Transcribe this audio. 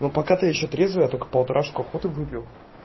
но пока то я ещё трезвый я только полторашку охоты выпил